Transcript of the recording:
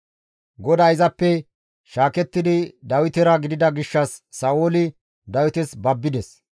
GODAY izappe shaakettidi Dawitera gidida gishshas Sa7ooli Dawites babbides.